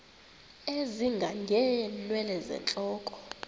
ezinga ngeenwele zentloko